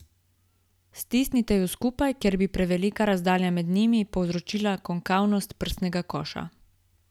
Stisnite ju skupaj, ker bi prevelika razdalja med njimi povzročila konkavnost prsnega koša.